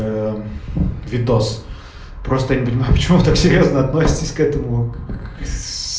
ээ видос просто не понимаю почему так серьёзно относитесь к этому к сс